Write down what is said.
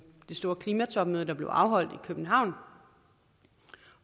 det store klimatopmøde der blev afholdt i københavn